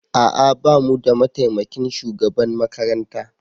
A'a ba mu da mataimakin shugaban makaranta